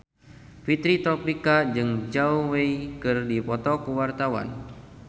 Fitri Tropika jeung Zhao Wei keur dipoto ku wartawan